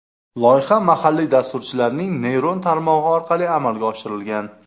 Loyiha mahalliy dasturchilarning neyron tarmog‘i orqali amalga oshirilgan.